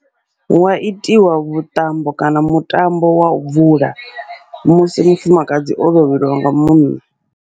Hua itiwa vhuṱambo kana mutambo wau bvula, musi mufumakadzi o lovheliwa nga munna.